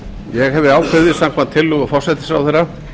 ég hef ákveðið samkvæmt tillögu forsætisráðherra